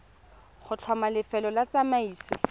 go tlhoma lefelo la tsamaiso